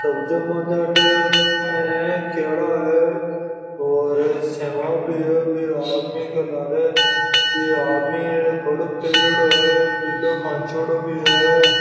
केला है और सेवा भी है --